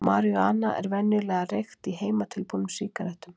Marijúana er venjulega reykt í heimatilbúnum sígarettum.